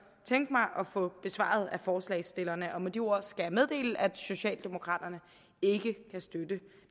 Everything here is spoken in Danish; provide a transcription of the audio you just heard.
tænke mig at få besvaret af forslagsstillerne med de ord skal jeg meddele at socialdemokraterne ikke kan støtte